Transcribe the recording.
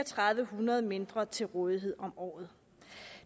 hundrede kroner mindre til rådighed om året